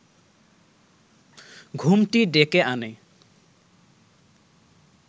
ঘুমটি ডেকে আনে